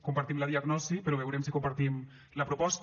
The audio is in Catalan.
compartim la diagnosi però veurem si compartim la proposta